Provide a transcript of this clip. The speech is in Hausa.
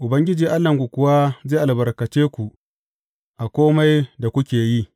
Ubangiji Allahnku kuwa zai albarkace ku a kome da kuke yi.